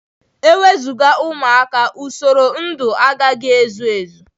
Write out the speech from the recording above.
Enwezuga ụmụaka, usoro ndụ agaghị ezu Ezi.